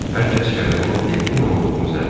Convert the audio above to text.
Hər kəs gələnin Delfina olduğunu zənn elədi.